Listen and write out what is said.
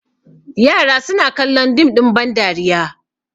yara suna kallon dim ɗin bandariya